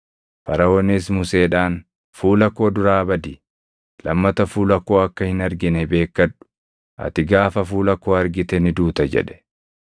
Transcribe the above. Faraʼoonis Museedhaan, “Fuula koo duraa badi! Lammata fuula koo akka hin argine beekkadhu; ati gaafa fuula koo argite ni duuta!” jedhe.